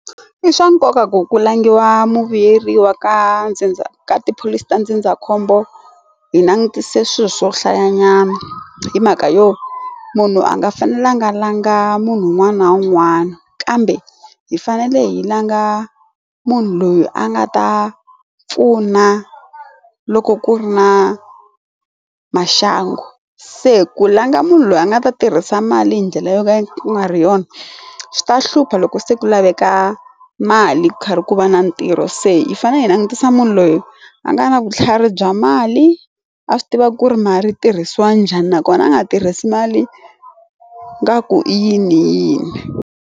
I swa nkoka ku ku langhiwa muvuyeriwa ka ndzindza ka tipholisi ta ndzindzakhombo hi langutise swilo swo hlaya nyana hi mhaka yo munhu a nga fanelanga langa munhu un'wana na un'wana kambe hi fanele hi langa munhu loyi a nga ta pfuna loko ku ri na maxangu se ku langa munhu loyi a nga ta tirhisa mali hi ndlela yo ka yi nga ri yona swi ta hlupha loko se ku laveka mali karhi ku va na ntirho se yi fanele yi langutisa munhu loyi a nga na vutlhari bya mali a swi tiva ku ri ma ri tirhisiwa njhani nakona a nga tirhisi mali ingaku i yini yini.